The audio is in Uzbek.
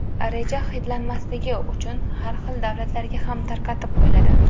Reja xitlanmasligi uchun har xil davlatlarga ham tarqatib qo‘yiladi.